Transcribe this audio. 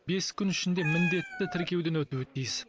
бес күн ішінде міндетті тіркеуден өтуі тиіс